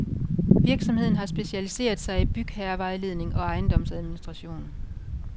Virksomheden har specialiseret sig i bygherrevejledning og ejendomsadministration.